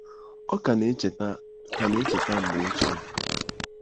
Ọ ka na-echeta ka na-echeta mgbe ochie.